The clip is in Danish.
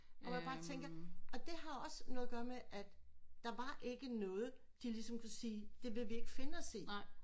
Og man bare tænker at det har også noget at gøre med at der var ikke noget de ligesom kunne sige det vil vi ikke finde os i